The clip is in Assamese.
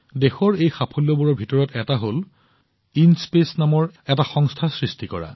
দেশৰ এই সাফল্যবোৰৰ ভিতৰত এটা হৈছে ইনস্পেচ নামৰ এটা সংস্থা সৃষ্টি কৰা